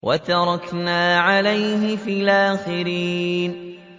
وَتَرَكْنَا عَلَيْهِ فِي الْآخِرِينَ